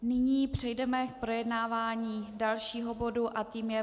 Nyní přejdeme k projednávání dalšího bodu a tím je